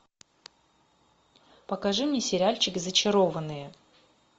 покажи мне сериальчик зачарованные